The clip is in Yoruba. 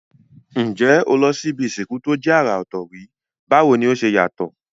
N jé o ti lo si ibi ìsìnkú to je àrà òtò rí, báwoni o se yàtò?